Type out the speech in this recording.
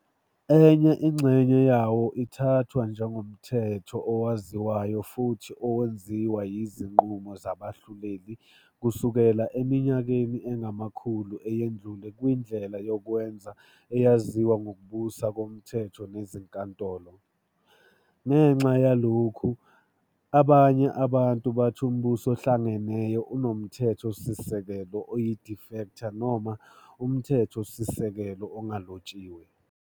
Enye inxenye yawo ithathwa njengomthetho owaziwayo futhi owenziwa yizinqumo zabahluleli kusukela eminyakeni engamakhulu eyendlule kwindlela yokwenza eyaziwa ngokubusa komthetho nezinkantolo. Ngenxa yalokhu, abanye abantu bathi uMbuso oHlangeneyo unomthethosisekelo oyi-"de facto" noma umthethosisekelo ongalotshiwe.